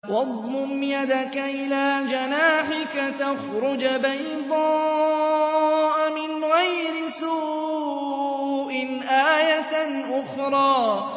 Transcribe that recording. وَاضْمُمْ يَدَكَ إِلَىٰ جَنَاحِكَ تَخْرُجْ بَيْضَاءَ مِنْ غَيْرِ سُوءٍ آيَةً أُخْرَىٰ